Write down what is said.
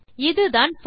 இதுதான் போரிச் லூப்